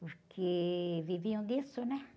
Porque viviam disso, né?